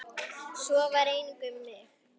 Svo var einnig um mig.